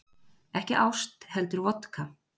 Ekki ást heldur vodka